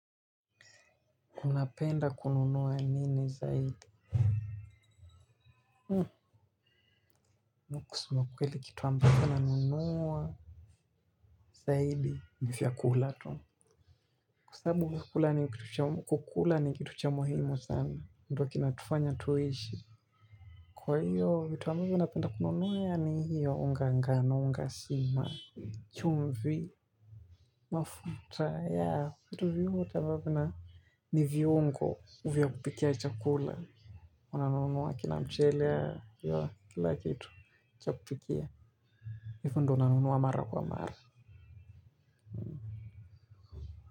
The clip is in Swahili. Unapenda kununuwa nini zaidi? Mimi Kusuma ukweli kitu ambacho na nunuwa zaidi ni vyakula tu. Kwa sababu kukula ni kitu cha muhimu sana. Ndo kinatufanya tuishi. Kwa hiyo vitu ambavyo napenda kununuwa yani hiyo unga ngano unga sima. Chimvi, mafuta ya kitu vyuhu chababu na. Ni viungo vya kupikia chakula. Unanunuwa kila mchele ywa kila kitu cha kupikia alafu ndio nanunuwa mara kwa mara.